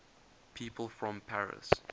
people from paris